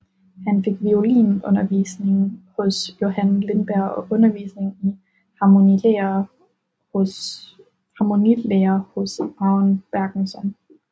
Han fik violinundervisning hos Johan Lindberg og undervisning i harmonilære hos Aron Bergenson